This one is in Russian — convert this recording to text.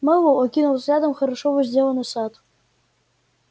мэллоу окинул взглядом хорошо возделанный сад